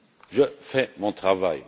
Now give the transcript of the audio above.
Je fais mon travail.